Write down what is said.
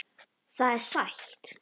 Það er sætt.